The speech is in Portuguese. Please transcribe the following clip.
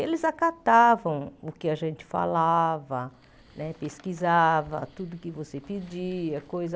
eles acatavam o que a gente falava né, pesquisava tudo que você pedia. Coisa